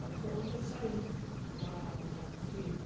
Aí foi onde eu saí da da firma.